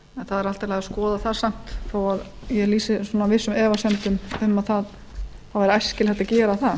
er allt í lagi að skoða það þó ég lýsi vissum efasemdum um að það væri æskilegt að gera það